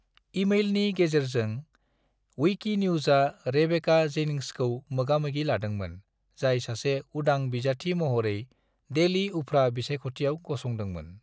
ईमेलनि गेजेरजों , विकिन्यूज़आ रेबेका जेनिंग्सखौ मोगामोगि लादोंमोन, जाय सासे उदां बिजाथि महरै डेली उफ्रा बिसायख'थियाव गसंदोंमोन।